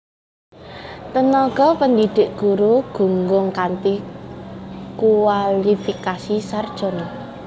Tenaga pendidik guru gunggung kanthi kuwalifikasi sarjana